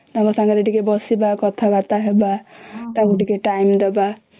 ତାଙ୍କ ପାଖର ଟିକେ ବସିବା କଥା ବାର୍ତା ହବା ତାଙ୍କୁ ଟିକେ time ଦେବା